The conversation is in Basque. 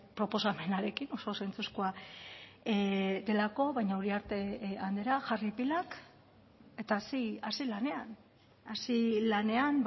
proposamenarekin oso zentzuzkoa delako baina uriarte andrea jarri pilak eta hasi lanean hasi lanean